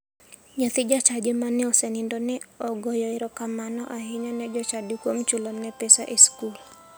Nyathi jachadi mane osenindono ne ogoyoe erokamano ahinya ne jochadi kuom chulone pesa e skul.